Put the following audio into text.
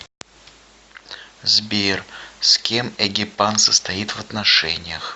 сбер с кем эгипан состоит в отношениях